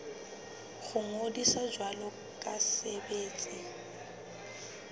ho ngodisa jwalo ka setsebi